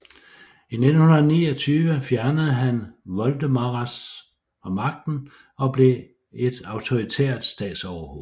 I 1929 fjernede han Voldemaras fra magten og blev et autoritært statsoverhoved